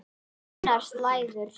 Þunnar slæður.